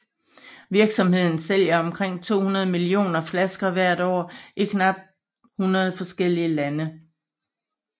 Virksomheden sælger omkring 200 millioner flasker hvert år i knap 100 forskellige lande